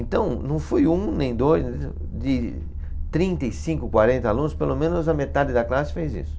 Então, não foi um nem dois, de trinta e cinco, quarenta alunos, pelo menos a metade da classe fez isso.